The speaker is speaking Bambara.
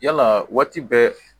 Yalaa waati bɛɛ